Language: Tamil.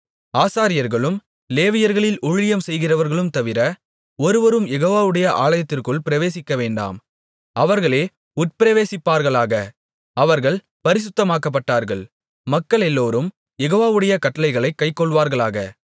ஆசாரியர்களும் லேவியர்களில் ஊழியம் செய்கிறவர்களும் தவிர ஒருவரும் யெகோவாவுடைய ஆலயத்திற்குள் பிரவேசிக்கவேண்டாம் அவர்களே உட்பிரவேசிப்பார்களாக அவர்கள் பரிசுத்தமாக்கப்பட்டவர்கள் மக்களெல்லோரும் யெகோவாவுடைய கட்டளைகளைக் கைக்கொள்வார்களாக